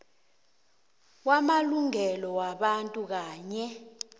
kwamalungelo wabantu kanye